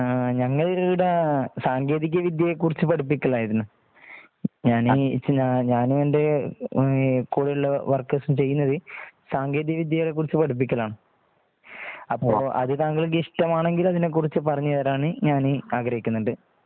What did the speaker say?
ഹാ ഞങ്ങള് ഇവിടെ സാങ്കേതിക വിദ്യയെ കുറിച്ച് പഠിപ്പിക്കലായിരുന്നു. ഞാനീ ഞാനും എന്റെ കൂടെ ഉള്ള വർക്കർ സ് ഉം ചെയ്യുന്നത് സാങ്കേതിക വിദ്യകളെ കുറിച്ച് പഠിപ്പിക്കലാണ്. അപ്പോ അതു താങ്കള്ക്ക് ഇഷ്ടം ആണെങ്കിൽ അതിനെ കുറിച്ച് പറഞ്ഞു തരാമെന്ന് ഞാൻ ആഗ്രഹിക്കുന്നുണ്ട്